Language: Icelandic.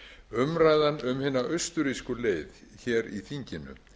umræðan um hina austurrísku leið hér í þinginu